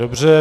Dobře.